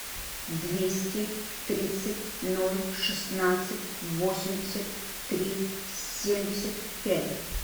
двести тридцать ноль шестнадцать восемьдесят три семьдесят пять